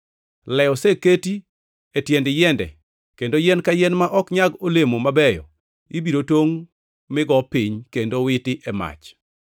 Le oseketi e tiend yiende kendo yien ka yien ma ok nyag olemo mabeyo ibiro tongʼ mi go piny kendo witi e mach.